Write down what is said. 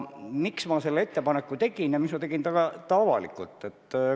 Miks ma selle ettepaneku tegin ja miks ma tegin selle avalikult?